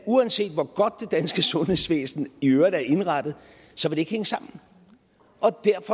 uanset hvor godt det danske sundhedsvæsen i øvrigt er indrettet ikke hænge sammen